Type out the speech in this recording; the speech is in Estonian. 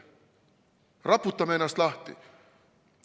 Raputame ennast lahti!